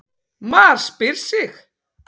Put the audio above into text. MAR SPYR SIG!